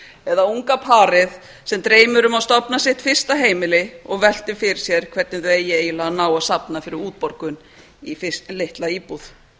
eða unga parið sem dreymir um að stofna sitt fyrsta heimili og veltir fyrir sér hvernig það eigi eiginlega að ná að safna fyrir útborgun í litla íbúð